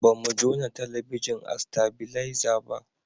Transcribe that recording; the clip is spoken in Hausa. ba mu jona talabijin a stabileza ba